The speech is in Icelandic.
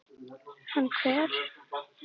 Hann hver?